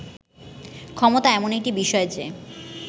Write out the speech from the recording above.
ক্ষমতা এমন একটি বিষয় যে